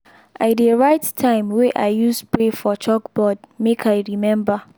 i dey write time wey i use spray for chalkboard make i remember.